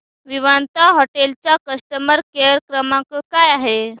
Vivanta hotel चा customer care क्रमांक काय आहे